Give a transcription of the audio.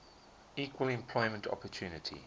equal employment opportunity